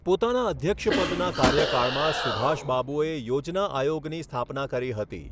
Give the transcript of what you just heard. પોતાના અધ્યક્ષપદના કાર્યકાળમાંં સુભાષબાબુએ યોજના આયોગની સ્થાપના કરી હતી.